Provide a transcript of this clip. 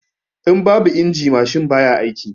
In babu injin mashin baya aiki